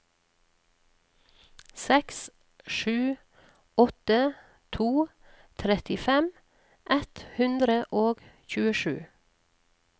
seks sju åtte to trettifem ett hundre og tjuesju